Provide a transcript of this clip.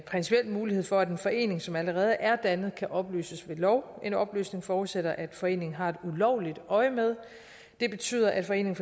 en mulighed for at en forening som allerede er dannet kan opløses ved lov en opløsning forudsætter at foreningen har et ulovligt øjemed det betyder at foreningen